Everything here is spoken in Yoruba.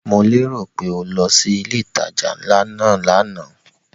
Mo lérò pé o lọ sí ilé ìtajà ńlá náà lánàá?